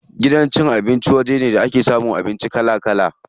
Gidan cin abinci waje ne da ake samun abinci kala kala.